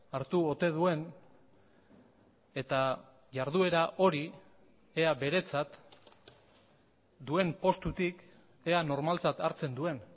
hartu ote duen eta jarduera hori ea beretzat duen postutik ea normaltzat hartzen duen